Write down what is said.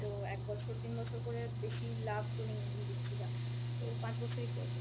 তো এক বছর তিন বছর করে বেশি লাভ তো নেই আমি দেখছি যা, তো পাঁচ বছরই করব।